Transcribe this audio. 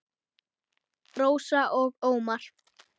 Rósa og Ómar.